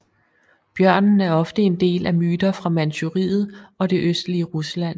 Bjørnen er ofte en del af myter fra Manchuriet og det østlige Rusland